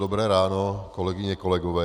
Dobré ráno, kolegyně, kolegové.